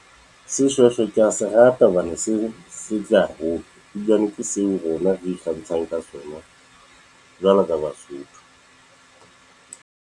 Seshweshwe ke ya se rata hobane se setle haholo [pause, ebilane ke seo rona re ikgantshang ka sona jwalo ka basotho.